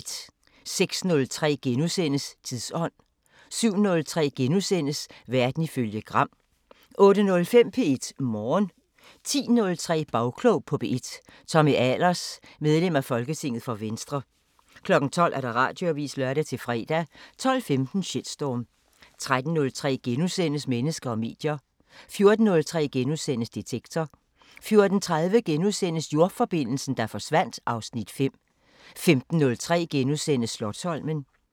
06:03: Tidsånd * 07:03: Verden ifølge Gram * 08:05: P1 Morgen 10:03: Bagklog på P1: Tommy Ahlers, medlem af folketinget for Venstre 12:00: Radioavisen (lør-fre) 12:15: Shitstorm 13:03: Mennesker og medier * 14:03: Detektor * 14:30: Jordforbindelsen, der forsvandt (Afs. 5)* 15:03: Slotsholmen *